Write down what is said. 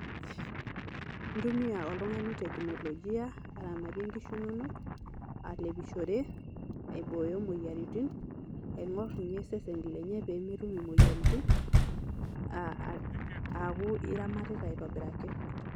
Intumia oltung'ani teknolojia aramatie inkishu inonok, alepishore, aibooyo moyiaritin, aing'or nye seseni lenye pee metum imoyiaritin aa aa aaku iramatita aitobiraki.